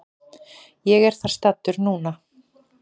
Ég er þar staddur núna.